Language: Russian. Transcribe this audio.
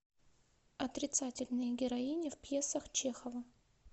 отрицательные героини в пьесах чехова